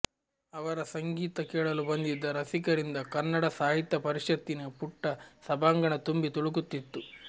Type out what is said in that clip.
ಅವರ ಸಂಗೀತ ಕೇಳಲು ಬಂದಿದ್ದ ರಸಿಕರಿಂದ ಕನ್ನಡ ಸಾಹಿತ್ಯ ಪರಿಷತ್ತಿನ ಪುಟ್ಟ ಸಭಾಂಗಣ ತುಂಬಿ ತುಳುಕುತ್ತಿತ್ತು